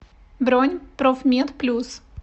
бронь профмед плюс